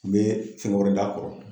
bɛ fɛn wɛrɛ d'a kɔrɔ.